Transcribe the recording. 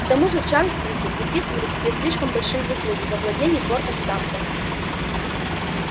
к тому же чарльстонцы приписывали себе слишком большие заслуги в овладении фортом самтер